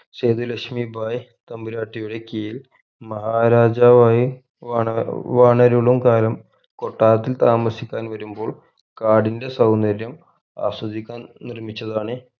സേതുലക്ഷ്‌മി ഭായ് തമ്പുരാട്ടിയുടെ കീഴിൽ മഹാരാജാവ് ആയി വണ ഏർ വണരുളും കാലം കൊട്ടാരത്തിൽ താമസിക്കാൻ വരുമ്പോൾ കാടിന്റെ സൗന്ദര്യം ആസ്വദിക്കാൻ നിർമിച്ചതാണ്